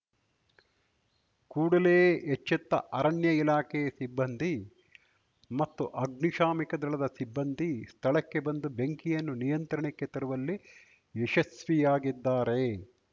ಕೂಡಲೇ ಎಚ್ಚೆತ್ತ ಅರಣ್ಯ ಇಲಾಖೆ ಸಿಬ್ಬಂದಿ ಮತ್ತು ಅಗ್ನಿಶಾಮಕ ದಳದ ಸಿಬ್ಬಂದಿ ಸ್ಥಳಕ್ಕೆ ಬಂದು ಬೆಂಕಿಯನ್ನು ನಿಯಂತ್ರಣಕ್ಕೆ ತರುವಲ್ಲಿ ಯಶಸ್ವಿಯಾಗಿದ್ದಾರೆ